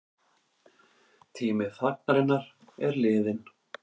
Tími þagnarinnar liðinn